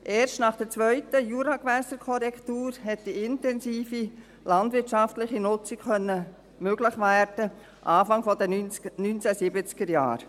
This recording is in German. Erst nach der zweiten Juragewässerkorrektur konnte eine intensive landwirtschaftliche Nutzung möglich werden, anfangs der 1970er-Jahre.